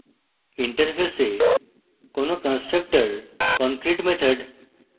interface কোনো constructors concrete method